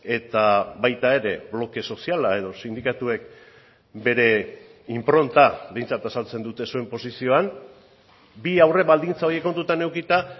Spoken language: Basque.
eta baita ere bloke soziala edo sindikatuek bere inpronta behintzat azaltzen dute zuen posizioan bi aurre baldintza horiek kontutan edukita